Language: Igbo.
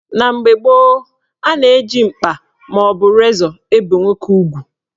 Na mgbe gboo, a na-eji mkpa maọbụ razọ ebe nwoke ugwu.